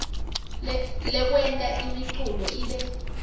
lekwenta imiculu ibe